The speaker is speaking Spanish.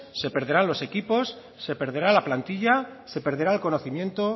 se perderán los equipos se perderá la plantilla se perderá el conocimiento